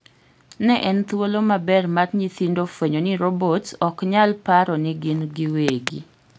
Ne en thuolo maber mar nyithindo fuenyo ni robot ok nyal paro nigin giwegi.